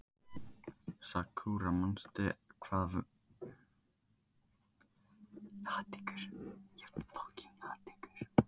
Sakura, manstu hvað verslunin hét sem við fórum í á sunnudaginn?